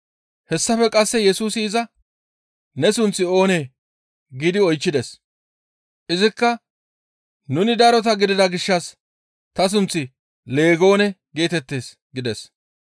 Hessafe qasse Yesusi iza, «Ne sunththi oonee?» giidi oychchides. Izikka, «Nuni darota gidida gishshas ta sunththi Leegoone geetettees» gides.